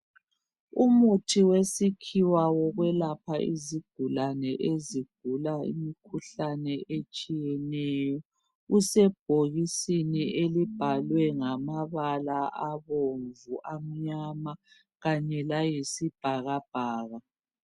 Umuthi wesikhiwa wokwelapha izigulane ezigulayo imikhuhlane etshiyeneyo usebhokisini elibhalwe ngamabala abomvu, amnyama kanye layisibhakabhaka.